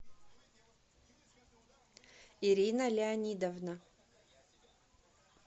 ирина леонидовна